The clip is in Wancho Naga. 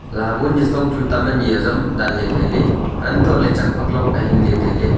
labo nitsong tam ani azam danley tailey untohley chak phak log ahinley tailey.